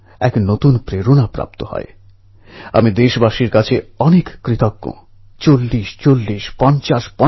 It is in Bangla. ইংরেজের কাছে এই লেখা ঈশ্বরের নির্দেশের মত শুনতে লেগেছিল